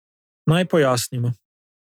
Naj pojasnimo.